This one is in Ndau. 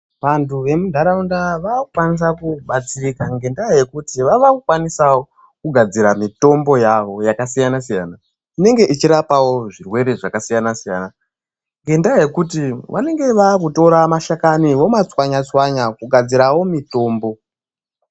Vantu vemuntaraunda vava kukwanisa kubtsirika ngendaa yekuti vava kukwanisa kugadzira mitombo yavo yakasiyana siyana , inenge ichirapawo zvirwere zvakasiyana siyana ngendaa yokuti vanenge votora mashakani vomatswanya tswanya kugadzirawo mitombo